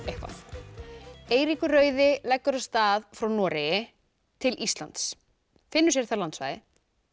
eitthvað Eiríkur rauði leggur af stað frá Noregi til Íslands finnur sér þar landsvæði